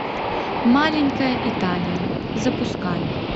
маленькая италия запускай